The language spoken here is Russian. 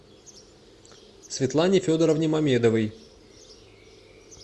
светлане федоровне мамедовой